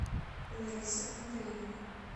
лариса андреевна